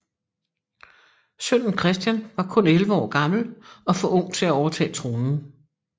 Sønnen Christian var kun 11 år gammel og for ung til at overtage tronen